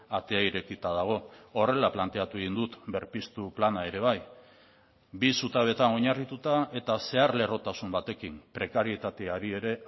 atea irekita dago horrela planteatu egin dut berpiztu plana ere bai bi zutabeetan oinarrituta eta zeharlerrotasun batekin prekarietateari ere